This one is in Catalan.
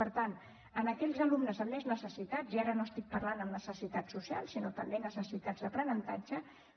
per tant a aquells alumnes amb més necessitats i ara no estic parlant de necessitats socials sinó també necessitats d’aprenentatge